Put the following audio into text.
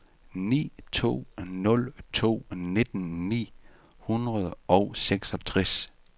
ni to nul to nitten ni hundrede og seksogtres